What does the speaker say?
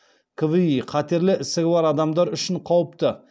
кви қатерлі ісігі бар адамдар үшін қауіпті